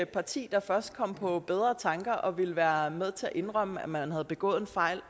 parti der først kom på bedre tanker og ville være med til at indrømme at man havde begået en fejl